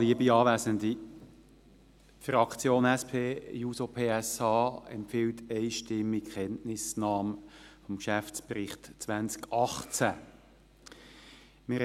Die Fraktion SP-JUSO-PSA empfiehlt einstimmig die Kenntnisnahme des Geschäftsberichts 2018.